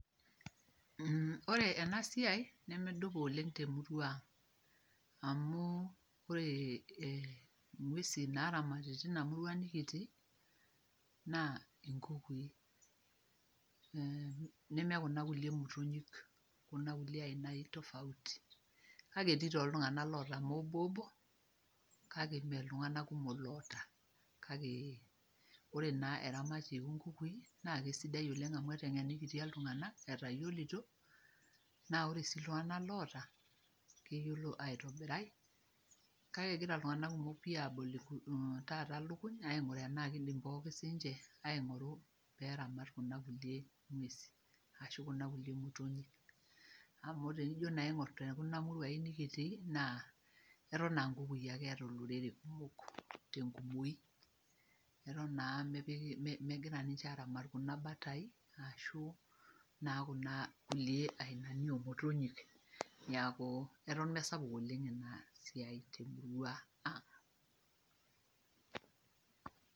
Ore ena siai nedupa oleng temurua ang amu ore eeh ingwesi naaramati tina murua nekitii naa enkukui neme kuna kulie motonyi kuna aina tofauti kake etii iltung'anak oota mobo obo kake mee iltung'anak kumok loota kake ore naa eramatie loo nkukui naa sidai oleng amu eteng'enikitia iltung'anak etayiolito naa ore sii iltung'anak loota keyiolo aitobirai kake eyiolo iltung'anak kumok aigura nai eneiko siininche peeramat kuna kulie ngwesi ashu kuna kulie motonyi amu tenijo naa aingor tenekuna muruain nekitii naa eton aa nkukui ake eeta olorere kumok tengumoi Eton naa mipik megira ninche aramat kuna batai ashu naa kuna kulie ainani oomotonyik niaku eton mesapuk oleng ena siai temurua ang'.